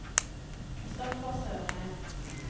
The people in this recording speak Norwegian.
Kristoffer Sørheim